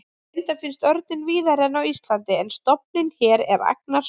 Reyndar finnst örninn víðari en á Íslandi en stofninn hér er agnarsmár.